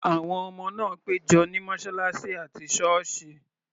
Àwọn ọmọ náà pẹ́ jọ ní mọ́ṣáláṣí àti ṣọ́ọ̀sì.